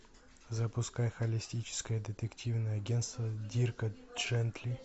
запускай холестическое детективное агенство дирка джентли